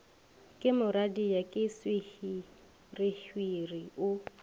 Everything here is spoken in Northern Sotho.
ke moradia ke sehwirihwiri o